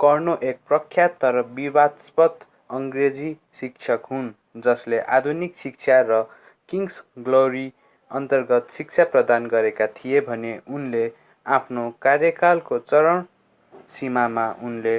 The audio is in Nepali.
कर्नो एक प्रख्यात तर विवादास्पद अङ्ग्रेजी शिक्षक हुन् जसले आधुनिक शिक्षा र किङ्स ग्लोरी अन्तर्गत शिक्षा प्रदान गरेका थिए भने उनले आफ्नो कार्यकालको चरम सीमामा उनले